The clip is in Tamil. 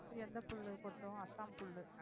எந்த புல்லு கொட்டும் அசாம் புல்லு